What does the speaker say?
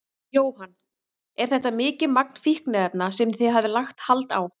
Jóhann: Er þetta mikið magn fíkniefna sem þið hafið lagt hald á?